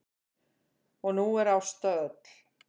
Og nú er Ásta öll.